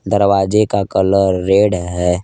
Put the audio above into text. दरवाजे का colour red है।